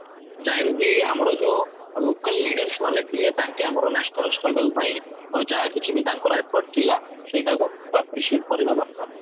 ଯହିଁ ରୁ କି ଆମର ଯୋଉ local leaders ମାନେ ଥିଲେ ତାଙ୍କେ ଆମର national struggle ପାଇଁ ଯାହାକିଛି ବି ତାଙ୍କର effort ଥିଲା ସେଇଟା କୁ appreciate କରିବା ଦରକାର